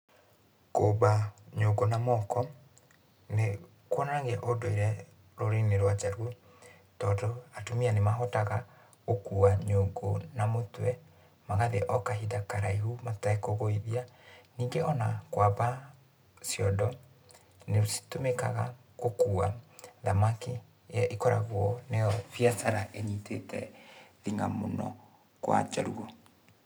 Kũmba nyũngũ na moko, nĩkuonanagia ũndũire rũrĩrĩ-inĩ rwa Jaluo, tondũ, atumia nĩmahotaga gũkua nyũngũ na mũtwe, magathiĩ o kahinda karaihu matekũgũithia. Ningĩ ona kwamba ciondo, nĩcitũmĩkaga gũkua thamaki, ĩrĩa ĩkoragũo nĩyo biacara ĩnyitite thing'a mũno kwa Jaluo.